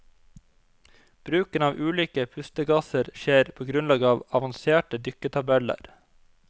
Bruken av ulike pustegasser skjer på grunnlag av avanserte dykketabeller.